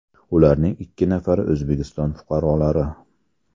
Ularning ikki nafari O‘zbekiston fuqarolari .